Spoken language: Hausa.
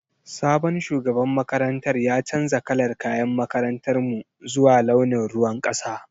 Sabon shugaban makarantar ya canza kalar kayan makarantar mu zuwa launin ruwan kasa.